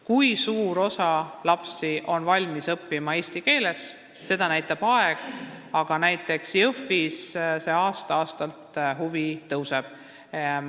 Kui suur osa lapsi on valmis eesti keeles õppima, seda näitab aeg, aga näiteks Jõhvis aasta-aastalt huvi tõuseb.